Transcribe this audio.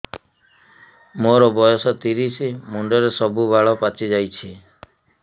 ମୋର ବୟସ ତିରିଶ ମୁଣ୍ଡରେ ସବୁ ବାଳ ପାଚିଯାଇଛି